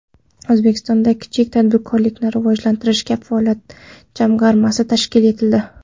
O‘zbekistonda Kichik tadbirkorlikni rivojlantirish kafolat jamg‘armasi tashkil etildi.